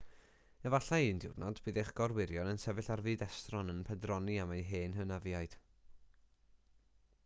efallai un diwrnod bydd eich gorwyrion yn sefyll ar fyd estron yn pendroni am eu hen hynafiaid